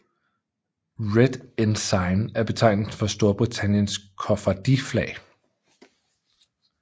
Red Ensign er betegnelsen for Storbritanniens koffardiflag